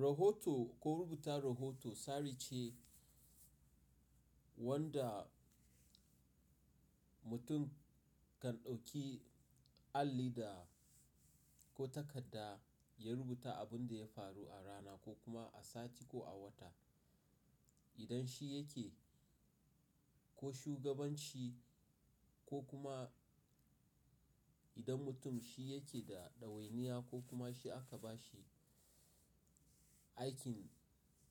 Rahoto ko rubuta rahoto tsari ce wanda mutum kan ɗauki alli da ko takarda ya rubuta abin da ya faru a rana ko kuma a sati ko a wata. Idan shi yake ko shugabanci ko kuma idan mutum shi yake da ɗawainiya ko kuma shi aka ba shi aikin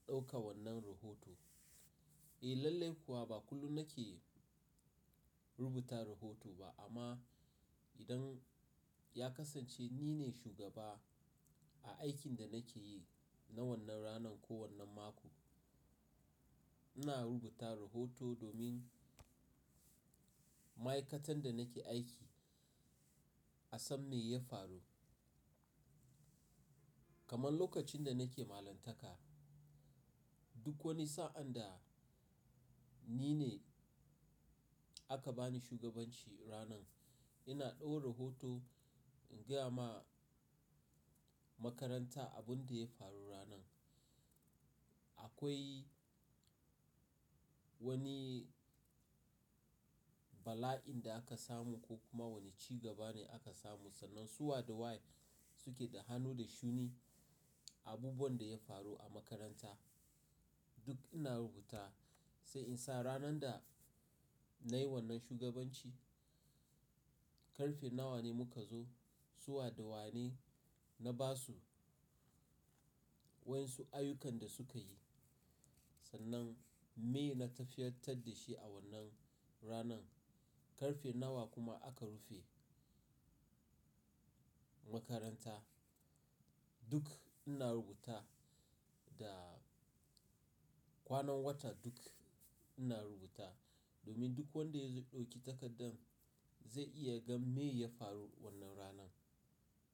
ɗauka wannan rahoto. Eh lallai kuwa ba kullum nake rubuta rahoto ba amma idan ya kasance nine shugaba a aikin da nake yi na wannan ranan ko wannan mako, ina rubuta rahoto domin ma'aikatan da nake aiki a san me ya faru. Kaman lokacin da nake malantaka duk wani sa'an da nine aka bani shugabanshi ranan ina ɗau rahoto in gaya ma makaranta abun da ya faru ranan. Akwai wani bala'in da aka samu ko kuma wani ci gaba ne aka samu sannan su wa da wa suke da hannu da shuni a abubuwan da ya faru a makaranta duk ina rubuta sai in sa ranan da nai wannan shugabanshi karfe nawa ne muka zo suwa da wa ne na basu wa su ayyukan da sukayi sannan me na tafiyatar da shi a wannan ranan karfe nawa kuma aka rufe makaranta duk ina rubuta da kwanan wata duk ina rubuta domin duk wanda ya ɗauki takardan zai iya gan me ya faru wannan ranan.